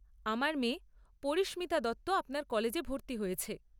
আমার মেয়ে পরিস্মিতা দত্ত আপনার কলেজে ভর্তি হয়েছে।